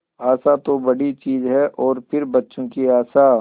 आशा तो बड़ी चीज है और फिर बच्चों की आशा